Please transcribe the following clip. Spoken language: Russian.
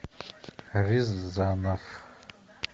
рязанов